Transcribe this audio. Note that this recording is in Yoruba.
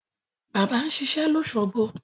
Bàbá ń ṣiṣẹ́ lósogbo